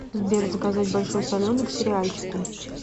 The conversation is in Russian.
сбер заказать большой соленый к сериальчику